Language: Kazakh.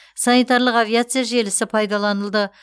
санитарлық авиация желісі пайдаланылды